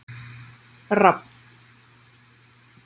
Rafn